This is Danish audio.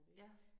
Ja